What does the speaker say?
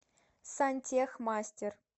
сантехмастер